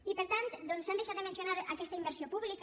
i per tant doncs s’han deixat de mencionar aquesta inversió pública